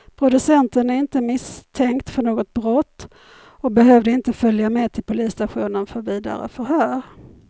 Producenten är inte misstänkt för något brott och behövde inte följa med till polisstationen för vidare förhör.